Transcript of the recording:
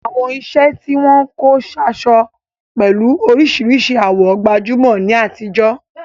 Àwọn iṣẹ́ tí wọ́n kó sáṣọ pẹ̀lú oríṣìíríṣìí àwọ̀ gbajúmọ̀ ní àtijọ́.